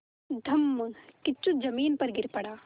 धम्मकिच्चू ज़मीन पर गिर पड़ा